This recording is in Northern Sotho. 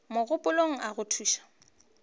mogopolong a go thuše go